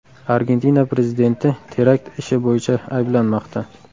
Argentina prezidenti terakt ishi bo‘yicha ayblanmoqda.